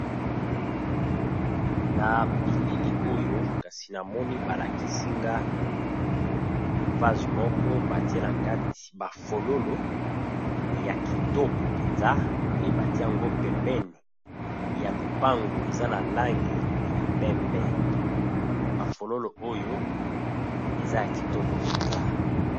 Na biilili oyo kasi na moni ba lakisi nga, vase moko ba tie na kati ba fololo ya kitoko penza pe ba tie yango pembeni ya lupangu eza na langi ya pembe. Ba fololo oyo eza ya kitoko penza .